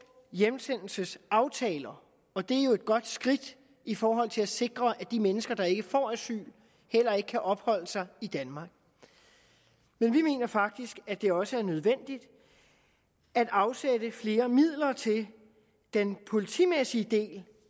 hjemsendelsesaftaler og det er jo et godt skridt i forhold til at sikre at de mennesker der ikke får asyl heller ikke kan opholde sig i danmark men vi mener faktisk at det også er nødvendigt at afsætte flere midler til den politimæssige del